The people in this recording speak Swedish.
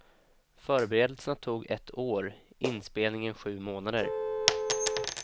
Förberedelserna tog ett år, inspelningen sju månader.